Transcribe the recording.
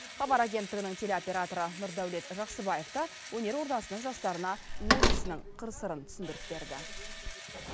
хабар агенттігінің телеоператоры нұрдәулет жақсыбаев та өнер ордасының жастарына өз ісінің қыр сырын түсіндіріп берді